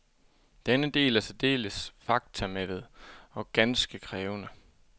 Denne del er særdeles faktamættet og ganske krævende.